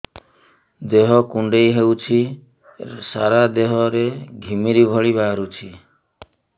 ଦେହ କୁଣ୍ଡେଇ ହେଉଛି ସାରା ଦେହ ରେ ଘିମିରି ଭଳି ବାହାରୁଛି